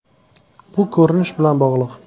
Bu ko‘rinish bilan bog‘liq.